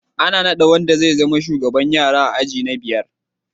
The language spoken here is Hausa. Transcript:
Ana nada wanda zai zama shugaban yara a aji na biyar